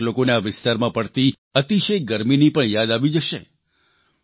કેટલાક લોકોને આ વિસ્તારમાં પડતી અતિશય ગરમીની પણ યાદ આવી જશે